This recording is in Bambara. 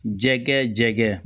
Jɛkɛ jɛgɛ